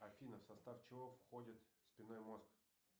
афина в состав чего входит спинной мозг